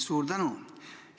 Suur tänu!